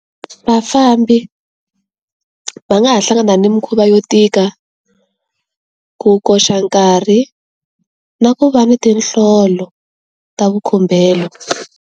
Vafambi va nga ha hlangana ni mikhuva yo tika ku koxa nkarhi, na ku va ni tinhlolo, ta vukhumbelo.